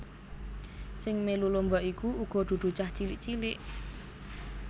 Sing melu lomba iku uga dudu cah cilik cilik